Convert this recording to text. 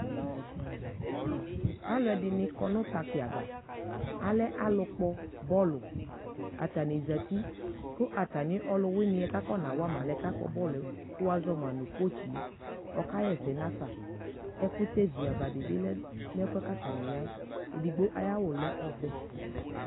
Aluɛde ne kɔ no paki avaAlɛ alu kpɔ bɔluAtane zati ko atane aluweneɛ ka akɔna wa ma alɛno akpɔ bɔluɛ ko wazɔ ma no kotsi ɔka hɛsɛ nafa ɛkutɛ vi ava de lɛ nɛfuɛ ka atane yaɛEdigbo aye awu lɛ ɔvɛ